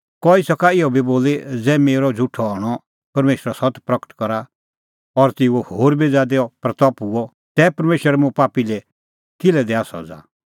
कई सका इहअ बी बोली ज़ै मेरअ झ़ुठअ हणअ परमेशरो सत्त प्रगट करा और तेऊए होर बी ज़ादी महिमां हआ तै परमेशर मुंह पापी लै किल्है दैआ सज़ा